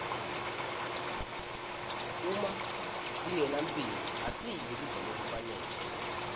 uma singenamphilo asidli kudla lokufanele